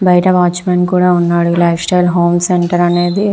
బయట watchman కూడా ఉన్నాడు. బయట లైఫ్ స్టైల్ హోమ్ సెంటర్ అనేద --